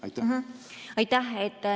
Aitäh!